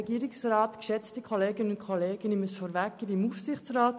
Soweit zu meiner Interessenbindung.